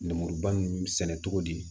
Lemuruba ninnu sɛnɛ cogo di